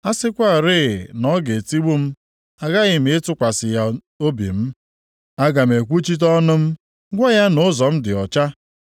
A sịkwarị na ọ ga-etigbu m aghaghị m ịtụkwasị ya obi m. Aga m ekwuchite ọnụ m gwa ya na ụzọ m dị ọcha.